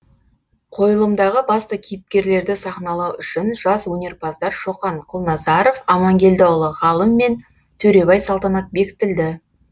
қойылымдағы басты кейіпкерлерді сахналау үшін жас өнерпаздар шоқан құлназаров амангелдіұлы ғалым мен төребай салтанат бекітілді